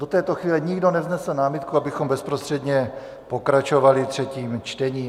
Do této chvíle nikdo nevznesl námitku, abychom bezprostředně pokračovali třetím čtením.